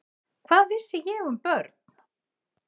Hvað vissi ég um börn?